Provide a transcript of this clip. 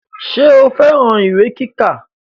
Ṣé o fẹ́ran ìwé kíkà